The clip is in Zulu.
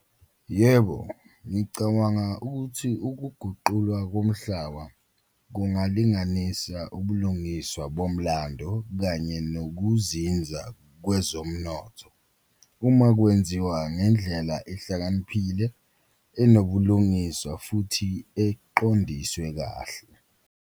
Yebo, ngicabanga ukuthi ukuguqulwa komhlaba kungalinganisa ubulungiswa bomlando kanye nokuzinza kwezomnotho uma kwenziwa ngendlela ehlakaniphile, enobulungiswa futhi eqondiswe kahle.